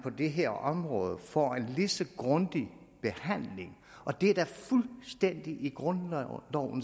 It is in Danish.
det her område får en lige så grundig behandling som og det er da fuldstændig i grundlovens ånd